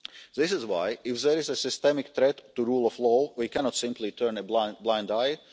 This is why, if there is a systemic threat to the rule of law, we cannot simply turn a blind